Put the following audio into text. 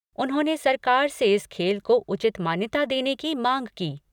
उन्होंने सरकार से इस खेल को उचित मान्यता देने की मांग की।